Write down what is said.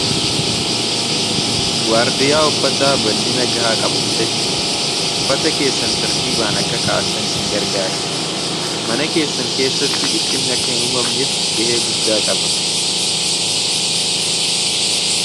Waardiyaa uffata bal'ina gahaa qabu bitachuun uffata keessan tartiibaan akka ka'attan isin gargaara mana keessan keessatti dhiphinni akka hin uumamneef gahee guddaa qaba.